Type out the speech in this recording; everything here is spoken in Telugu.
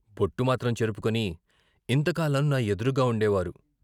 బొట్టు మాత్రం చెరుపుకుని ఇంతకాలం నా ఎదురుగా ఉండేవారు.